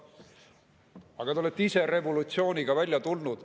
Aga te olete ise revolutsiooniga välja tulnud.